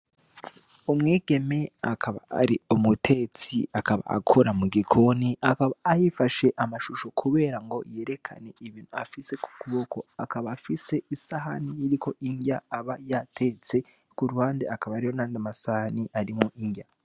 Umwigeme akaba ari umutetsi, akaba akora mu gikoni, akaba yifashe amashusho kugirango yerekane ibi afise ku kuboko. Akaba afise isahani iriko inrya aba yatetse, ku ruhande hakaba hariho n'ayandi masahani arimwo inrya.